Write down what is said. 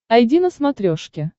айди на смотрешке